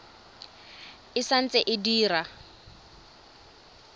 e sa ntse e dira